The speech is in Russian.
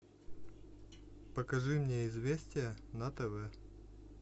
покажи мне известия на тв